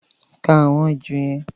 Ka àwọn èjò yẹn!